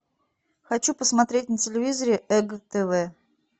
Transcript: хочу посмотреть на телевизоре эг тв